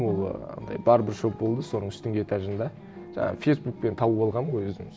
ол ы андай барбершоп болды соның үстінгі этажында жаңағы фейсбукпен тауып алғанмын ғой өзім